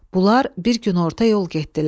Bunlar bir gün orta yol getdilər.